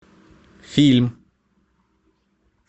фильм